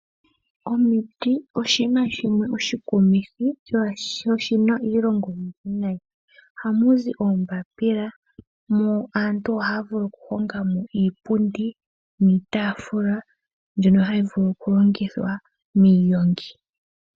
Omiti oshinima oshikunithi sho oshinaa iilonga oyindji. Oha muzi oombapila, iitafula mbyono hayi vulu kulongithwa miigongi noshowo iipundi.